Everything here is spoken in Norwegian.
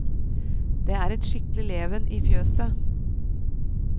Det er et skikkelig leven i fjøset.